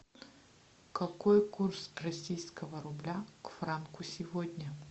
какой курс российского рубля к франку сегодня